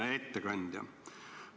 Hea ettekandja!